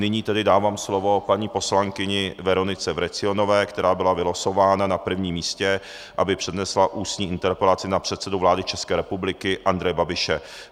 Nyní tedy dávám slovo paní poslankyni Veronice Vrecionové, která byla vylosována na prvním místě, aby přednesla ústní interpelaci na předsedu vlády České republiky Andreje Babiše.